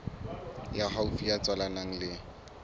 ya haufi ya tswalanang le